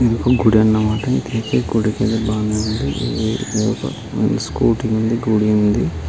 ఇది ఒక గుడి అన్నమాట. ఇదైతే గుడికీ వెళ్ళే బానే ఉంది. బయట ఒక స్కూటీ ఉంది. గుడి ఉంది.